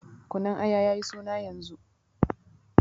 Kunun Aya ya yi suna yanzu.